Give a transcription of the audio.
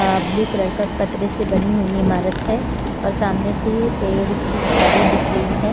अ blue colour का पतरे से बनी हुई इमारत है और सामने से ये पेड़ की झाड़ें दिख रही है।